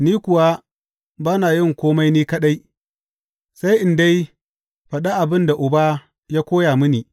Ni kuwa ba na yin kome ni kaɗai, sai in dai faɗi abin da Uba ya koya mini.